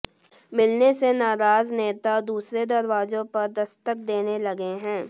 मिलने से नाराज नेता दूसरे दरवाजों पर दस्तक देने लगे हैं